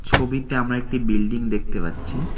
ছবিতে আমরা একটি বিল্ডিং দেখতে পাচ্ছি।